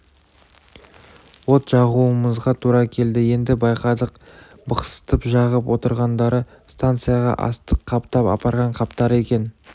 от жағуымызға тура келді енді байқадық бықсытып жағып отырғандары станцияға астық қаптап апарған қаптары екен